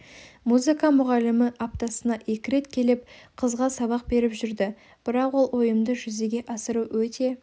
музыка мұғалімі аптасына екі рет келіп қызға сабақ беріп жүрді бірақ ол ойымды жүзеге асыру өте